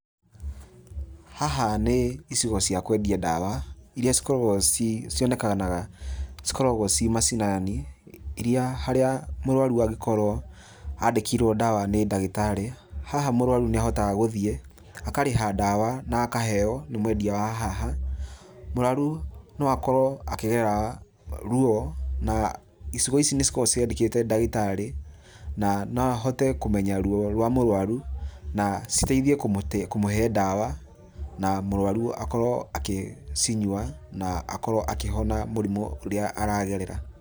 Haha nĩ icigo cia kwendia ndawa, iria cikorwago ci cionekanaga, cikoragwo ci macinani iria harĩa mũrũaru angĩkorwo andĩkĩrwo ndawa nĩ ndagĩtharĩ. Haha mũrũaru nĩ ahotaga gũthie, akarĩha ndawa na akaheo nĩ mwendia wa haha. Mũrũaru no akorwo akĩgerera rũo, na icigo ici nĩ cikoragwo ciandĩkite ndagĩtarĩ, na no ahote kũmenya rũo rwa mũrũaru na citeithie kũmũte kũmũhe ndawa, na mũrũaru akorwo akĩcinyua na akorwo akĩhona mũrimũ ũrĩa aragerera.